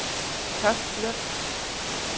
Toftlund